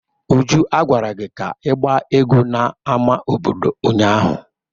Uju, a gwara gi ka igba egwu n'ámá obodo ụnyahụ!